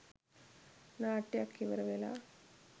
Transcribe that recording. නාට්‍යයක් ඉවර වෙලා.